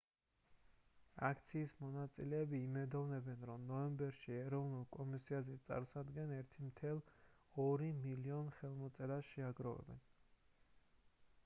აქციის მონაწილეები იმედოვნებენ რომ ნოემბერში ეროვნულ კონგრესზე წარსადენ 1,2 მილიონ ხელმოწერას შეაგროვებენ